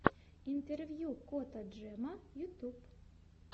интервью кота джема ютьюб